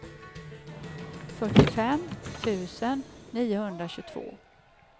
fyrtiofem tusen niohundratjugotvå